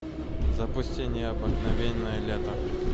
запусти необыкновенное лето